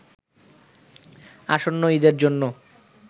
আসন্ন ঈদের জন্য